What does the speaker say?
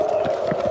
Bəşər övladı.